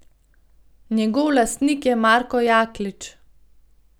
Njegov lastnik je Marko Jaklič.